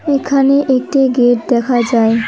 এখানে একটি গেট দেখা যায়।